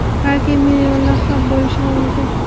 balki millionlab ham bo‘lishi mumkin.